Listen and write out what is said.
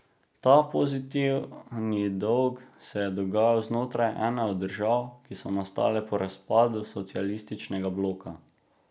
Ta pozitivni dolg se je dogajal znotraj ene od držav, ki so nastale po razpadu socialističnega bloka.